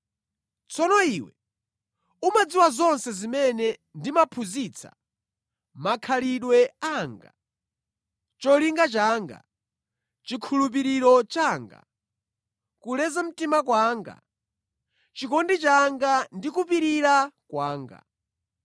Tsono iwe, umadziwa zonse zimene ndimaphunzitsa, makhalidwe anga, cholinga changa, chikhulupiriro changa, kuleza mtima kwanga, chikondi changa, ndi kupirira kwanga,